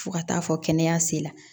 Fo ka taa fɔ kɛnɛya sela